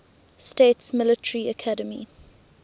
states military academy